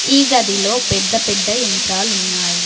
ఈ గదిలో పెద్ద పెద్ద యంత్రాలున్నాయి.